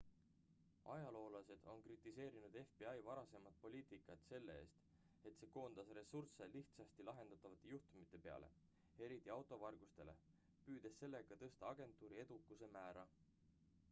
ajaloolased on kritiseerinud fbi varasemat poliitikat selle eest et see koondas ressursse lihtsasti lahendatavate juhtumite peale eriti auto vargustele püüdes sellega tõsta agentuuri edukuse määra